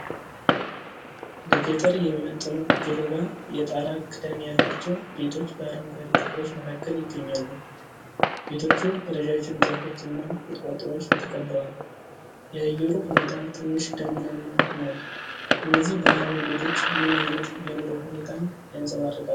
ለገጠር የሚመጥኑ፣ ገለባ የጣራ ክዳን ያላቸው ቤቶች በአረንጓዴ ተክሎች መካከል ይገኛሉ። ቤቶቹ በረዣዥም ዛፎች እና ቁጥቋጦዎች ተከበዋል። የአየሩ ሁኔታ ትንሽ ደመናማ ነው። እነዚህ ባህላዊ ቤቶች ምን ዓይነት የኑሮ ሁኔታን ያንፀባርቃሉ?